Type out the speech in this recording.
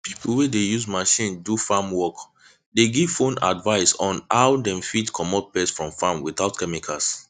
pipo wey dey use machine do farm work dey give phone advice on how dem fit comot pest from farm without chemicals